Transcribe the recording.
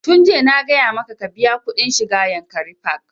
Tun jiya na gaya maka ka biya kuɗin shiga yankari park!